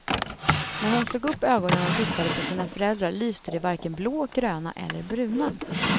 När hon slog upp ögonen och tittade på sina föräldrar lyste de varken blå, gröna eller bruna.